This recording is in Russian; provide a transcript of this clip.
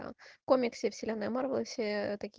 комиксы вселенной марвел